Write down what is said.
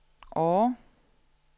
Årre